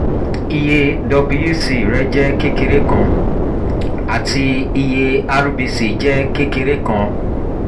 iye wbc rẹ jẹ kekere kan ati iye rbc jẹ kekere kan